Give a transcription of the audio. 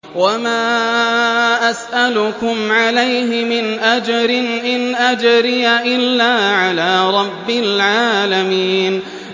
وَمَا أَسْأَلُكُمْ عَلَيْهِ مِنْ أَجْرٍ ۖ إِنْ أَجْرِيَ إِلَّا عَلَىٰ رَبِّ الْعَالَمِينَ